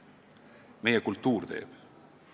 Meie kultuur teeb.